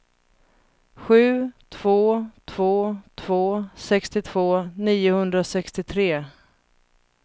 sju två två två sextiotvå niohundrasextiotre